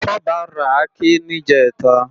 Toba rá àké nijètá